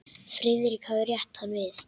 Friðrik hafði rétt hann við.